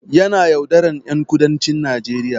Yana yaudaran ƴan kudancin Najeriya